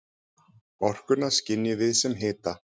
Orkuna skynjum við sem hita.